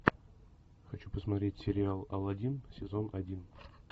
хочу посмотреть сериал аладдин сезон один